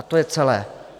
A to je celé.